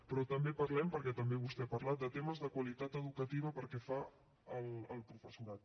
però també parlem perquè també vostè n’ha parlat de temes de qualitat educativa pel que fa al professorat